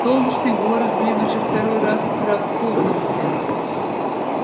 солнечный город блин уже второй раз с утра вспомнился